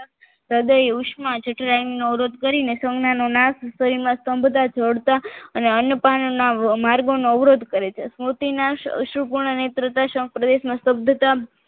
હ્રદય ઉષ્મા ચતુરાઈ નો અવરોધ કરીને સૌના નો નાશ કરીને શરીરમાં સ્તંભતા જોડતા અને અન્ય પાનના માર્ગોનો અવરોધ કરે છે સમુતી શૃપુર્ણ નેતૃતા સંઘ પ્રદેશમાં નેતૃત્વ શબ્દતા